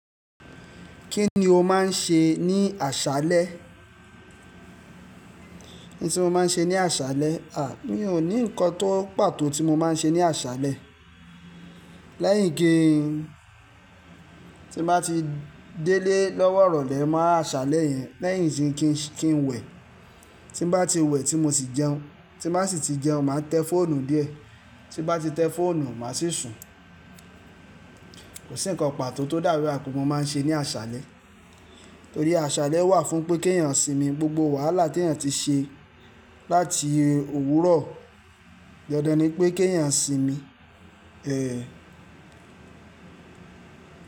Kí ni o máa ń ṣe ní àṣálẹ́? Ní tí mo máa ń ṣe ní àṣálẹ́. À, mi ò ní nǹkan tó pàtó tí mo máa ń ṣe ní àṣálẹ́. Lẹ́yìn kí n, tí bá ti délé lọ́wọ́ ìrọ̀lẹ́, màá ṣálẹ́ yẹn lẹ́yìn tí kín, kí n wẹ. Tí bá ti wẹ, tí mo sì jẹun, tí màá sì ti jẹun, màá tẹ fóònù díẹ̀. Tí bá ti tẹ fóònù, màá sì sùn. Kò sí ǹkan pàtó tó dàrú ẹkùn mo máa ń ṣe ní àṣálẹ́. Torí àṣálẹ́ wà fún pé kí ènìyàn sìnmi. Gbogbo wàhálà tí ènìyàn ti ṣe láti òwúrọ̀, dandan ni pé kí ènìyàn sìnmi. Èé.